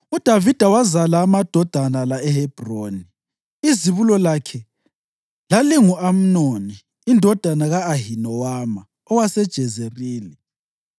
UDavida wazala amadodana la eHebhroni: Izibulo lakhe lalingu-Amnoni indodana ka-Ahinowama owaseJezerili;